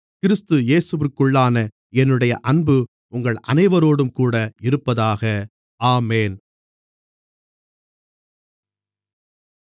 கிறிஸ்து இயேசுவிற்குள்ளான என்னுடைய அன்பு உங்கள் அனைவரோடும்கூட இருப்பதாக ஆமென்